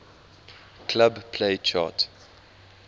club play chart